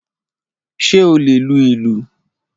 Ṣé o lè lu ìlù?